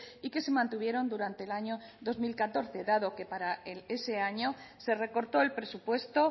y que se mantuvieron durante el año dos mil catorce dado que para ese año se recortó el presupuesto